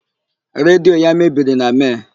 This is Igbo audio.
Redio ya mebiri na Mee.